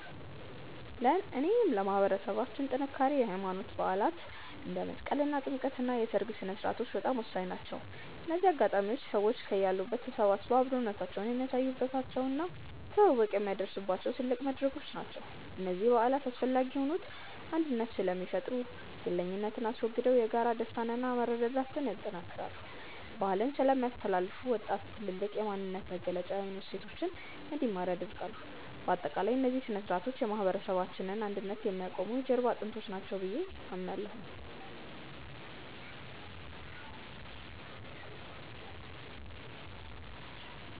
ለእኔ ለማህበረሰባችን ጥንካሬ የሃይማኖት በዓላት (እንደ መስቀልና ጥምቀት) እና የሰርግ ሥነ-ሥርዓቶች በጣም ወሳኝ ናቸው። እነዚህ አጋጣሚዎች ሰዎች ከያሉበት ተሰባስበው አብሮነታቸውን የሚያሳዩባቸው እና ትውውቅ የሚያድሱባቸው ትልቅ መድረኮች ናቸው። እነዚህ በዓላት አስፈላጊ የሆኑት አንድነትን ስለሚፈጥሩ፦ ግለኝነትን አስወግደው የጋራ ደስታንና መረዳዳትን ያጠናክራሉ። ባህልን ስለሚያስተላልፉ፦ ወጣቱ ትውልድ የማንነት መገለጫ የሆኑ እሴቶችን እንዲማር ያደርጋሉ። ባጠቃላይ፣ እነዚህ ሥነ-ሥርዓቶች የማህበረሰባችንን አንድነት የሚያቆሙ የጀርባ አጥንቶች ናቸው ብዬ አምናለሁ።